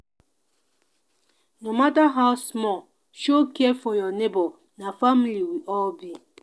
no matter how small show care for your neighbor na family we all be.